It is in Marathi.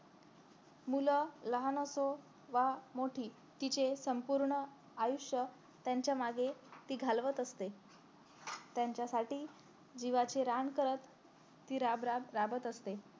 मूल लहान असो वा मोठी तिचे संपूर्ण आयुष्य त्यांच्या मागे ती घालवत असते त्यांच्यासाठी जीवाचे रान करत ती राब राब राबत असते